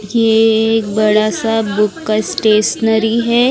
ये एक बड़ा सा बुक का स्टेशनरी है।